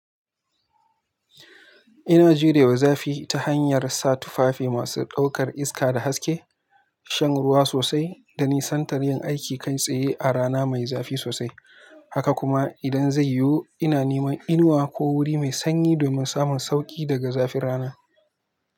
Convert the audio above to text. Ina jurewa zafi ta hanyar sa tufafi masu ɗaukar iska da haske, shan ruwa sosai da nisantar yin aiki kai tsaye a rana mai zafi sosai. Haka kuma idan zai yiwu ina neman inuwa ko wuri mai sanyi domin samun sauƙi daga zafin rana.